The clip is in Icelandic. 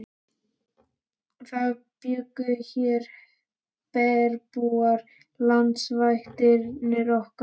Það bjuggu hér bergbúar, landvættirnar okkar.